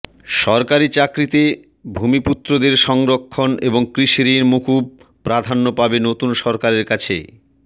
সরকারি চাকরিতে ভূমিপুত্রদের সংরক্ষণ এবং কৃষিঋণ মকুব প্রাধান্য পাবে নতুন সরকারের কাছে